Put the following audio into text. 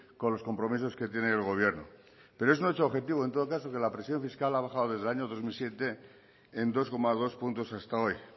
con los compromisos que tienen el gobierno pero es un hecho objetivo en todo caso que la presión fiscal ha bajado desde el año dos mil siete en dos coma dos puntos hasta hoy